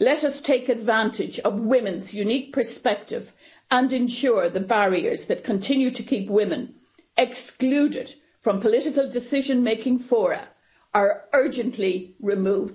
Let us take advantage of women's unique perspective and ensure the barriers that continue to keep women excluded from political decision making fora are urgently removed.